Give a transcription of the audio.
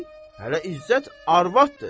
hələ İzzət arvadıdır.